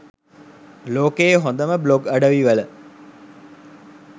ලෝකයේ හොදම බ්ලොග් අඩවි වල